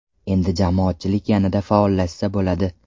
Endi jamoatchilik yanada faollashsa bo‘ladi.